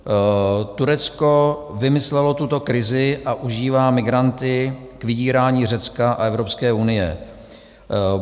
Turecko vymyslelo tuto krizi a užívá migranty k vydírání Řecka a Evropské unie.